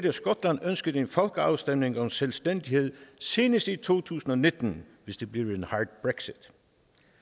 at skotland ønsker en folkeafstemning om selvstændighed senest i to tusind og nitten hvis det bliver